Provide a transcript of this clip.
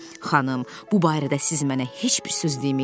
Xanım, bu barədə siz mənə heç bir söz deməyin.